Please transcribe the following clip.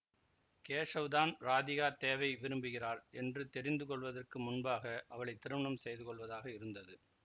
கேஷவ்தான் ராதிகா தேவை விரும்புகிறாள் என்று தெரிந்து கொள்வதற்கு முன்பாக அவளை திருமணம் செய்துகொள்வதாக இருந்தது